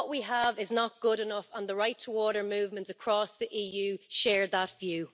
What we have is not good enough, and the Right To Water movements across the EU share that view.